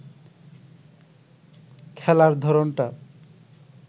খেলার ধরনটা